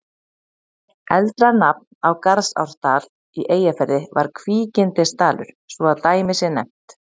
Eldra nafn á Garðsárdal í Eyjafirði var Kvígindisdalur, svo að dæmi sé nefnt.